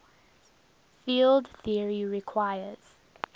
field theory requires